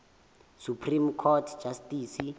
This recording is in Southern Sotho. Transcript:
supreme court justice